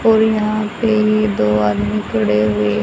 और यहां पे दो आदमी खड़े हुए--